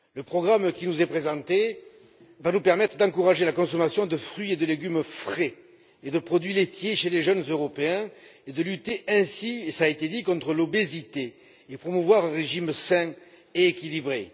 Le programme qui nous est présenté nous permettra d'encourager la consommation de fruits et de légumes frais ainsi que de produits laitiers chez les jeunes Européens et, partant, de lutter cela a été dit contre l'obésité et de promouvoir un régime alimentaire sain et équilibré.